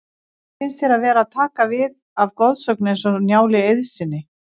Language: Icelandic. Hvernig finnst þér að vera að taka við af goðsögn eins og Njáli Eiðssyni?